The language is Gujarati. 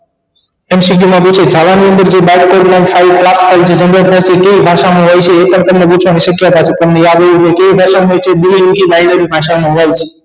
mcq માં પૂછે જાવા ની અંદર જે બાષ્પીભવન થાય તે પ્રાપ્ત થઈ તે કઈ ભાષા માં હોય છે એ પણ તમને પૂછવાની શક્યતા છે તમને યાદ હોવું જોઈએ કેવી ભાષા માં હોય છે બે ભાષા માં હોય છે